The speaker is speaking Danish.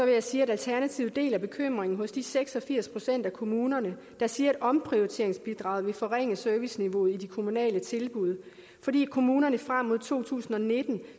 jeg sige at alternativet deler bekymringen for de seks og firs procent af kommunerne der siger at omprioriteringsbidraget vil forringe serviceniveauet i de kommunale tilbud fordi kommunerne frem mod to tusind og nitten